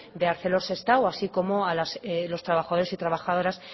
de arcelor sestao así como a los trabajadores y trabajadoras